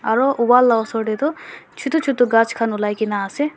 aro wall la osor taetu chutu chutu ghas khan olai kaenaase.